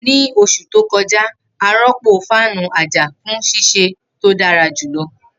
Ni oṣu to kọja, a rọpo fáànù aja fun ṣiṣe to dara julọ.